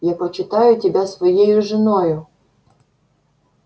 я почитаю тебя своею женою